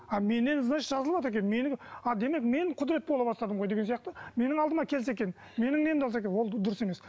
а менен значит жазылыватыр екен менің а демек мен құдірет бола бастадым ғой деген сияқты менің алдыма келсе екен менің немді алса екен ол дұрыс емес